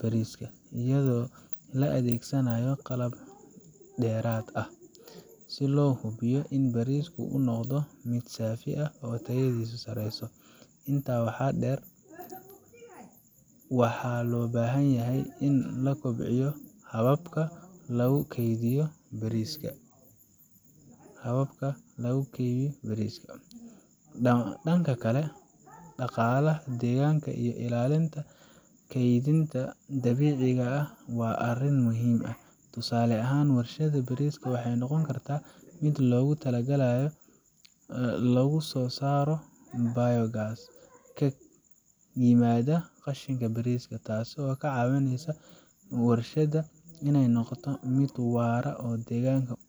bariiska, iyadoo la adeegsanayo qalab dheeraad ah si loo hubiyo in bariisku uu noqdo mid saafi ah oo tayadiisu sareyso. Intaa waxaa dheer, waxaa loo baahan yahay in la kobciyo hababka lagu keydiyo bariiska Dhanka kale, dhaqaalaha deegaanka iyo ilaalinta kaydinta dabiiciga ah waa arrin muhiim ah. Tusaale ahaan, warshadda bariiska waxay noqon kartaa meel loogu talagalay in lagu soo saaro biogas ka yimaada qashinka bariiska, taasoo ka caawin karta warshadda inay noqoto mid waara oo deegaanka.